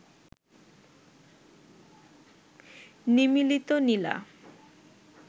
নিমীলিত নীলা